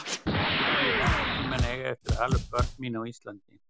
Skyldi ég nokkurn tíma eiga eftir að ala upp börn mín á Íslandi?